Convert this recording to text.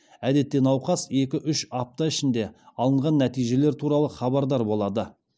әдетте науқас екі үш апта ішінде алынған нәтижелер туралы хабардар болады